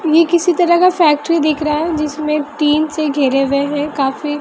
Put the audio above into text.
ये किसी तरह का फैक्ट्री दिख रहा है जिसमें टीन से घेरे हुए है काफी--